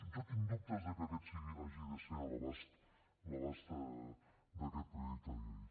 jo tinc dubtes de que aquest hagi de ser l’abast d’aquest projecte de llei